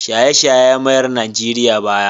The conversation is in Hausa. Shaye-shaye ya mayar Najeriya baya.